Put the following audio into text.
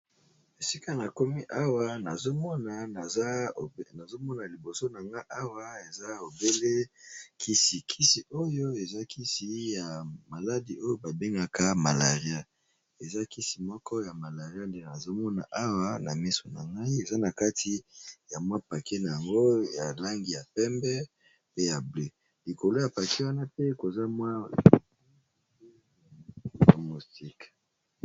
esika na komi awa nazomona liboso na nga awa eza obele kisi kisi oyo eza kisi ya maladi oyo babengaka malaria eza kisi moko ya malaria nde nazomona awa na miso na ngai eza na kati ya mwa pake na yango ya langi ya pembe pe ya bleu likolo ya pake wana pe koza mwa homostiqe